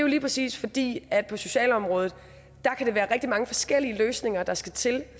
lige præcis fordi der på socialområdet kan være rigtig mange forskellige løsninger der skal til